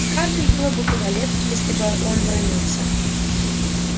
скарлетт было бы куда легче если бы он бранился